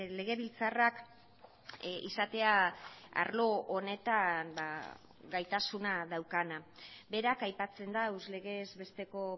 legebiltzarrak izatea arlo honetan gaitasuna daukana berak aipatzen da legez besteko